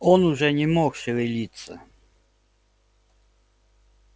он уже не мог шевелиться